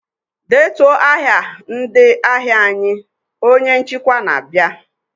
"Detuo aha ndị ahịa anyị!" Onye nchịkwa na-aba.